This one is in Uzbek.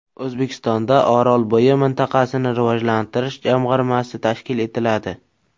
O‘zbekistonda Orolbo‘yi mintaqasini rivojlantirish jamg‘armasi tashkil etiladi .